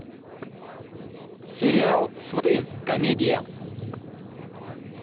сериал сваты комедия